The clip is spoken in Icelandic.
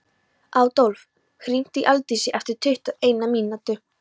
Adólf, hringdu í Aldísi eftir tuttugu og eina mínútur.